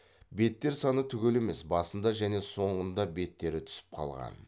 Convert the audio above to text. беттер саны түгел емес басында және соңында беттері түсіп қалған